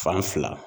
Fan fila